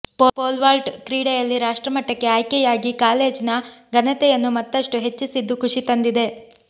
pole vault ಕ್ರೀಡೆಯಲ್ಲಿ ರಾಷ್ಟ್ರಮಟ್ಟಕ್ಕೆ ಆಯ್ಕೆಯಾಗಿ ಕಾಲೇಜ್ನ ಘನತೆಯನ್ನು ಮತ್ತಷ್ಟು ಹೆಚ್ಚಿಸಿದ್ದು ಖುಶಿ ತಂದಿದೆ